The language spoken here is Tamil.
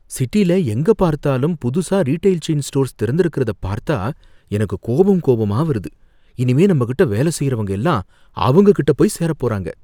சிட்டில எங்க பார்த்தாலும் புதுசா ரீடெய்ல் செயின் ஸ்டோர்ஸ் திறந்திருக்கிறத பார்த்தா எனக்கு கோபம் கோபமா வருது, இனிமே நம்ம கிட்ட வேலை செய்றவங்க எல்லாம் அவங்க கிட்ட போய் சேரப் போறாங்க.